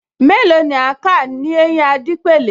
Mélòó ni a máa kà l’éyín Adépèlé